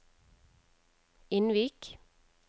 Innvik